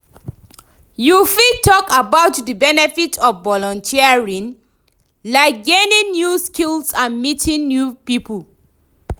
you fit talk about di benefits of volunteering, like gaining new skills and meeting new people?